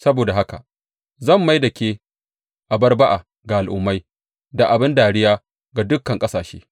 Saboda haka zan mai da ke abar ba’a ga al’ummai da abin dariya ga dukan ƙasashe.